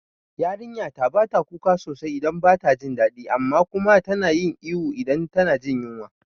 Yarinyata bata kuka sosai idan bata jin dadi amma kuma tana ihu idan tana jin yunwa